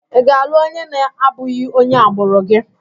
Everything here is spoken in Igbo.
Ị ga-alụ onye na-abụghị onye agbụrụ gị?